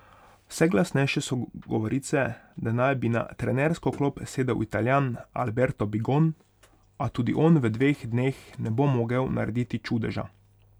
Vse glasnejše so govorice, da naj bi na trenersko klop sedel Italijan Alberto Bigon, a tudi on v dveh dneh ne bo mogel narediti čudeža.